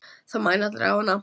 Það mæna allir á hana.